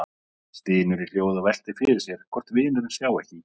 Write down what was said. Stynur í hljóði og veltir fyrir sér hvort vinurinn sjái ekki í gegnum hann.